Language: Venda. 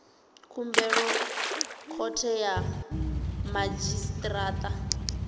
khumbelo khothe ya madzhisi ṱira